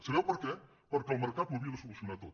sabeu per què perquè el mercat ho havia de solucionar tot